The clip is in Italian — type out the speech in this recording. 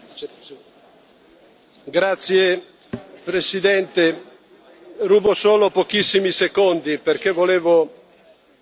Signor Presidente, onorevoli colleghi, rubo solo pochissimi secondi perché volevo